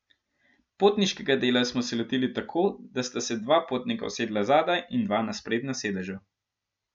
Potniškega dela smo se lotili tako, da sta se dva potnika usedla zadaj in dva na sprednja sedeža.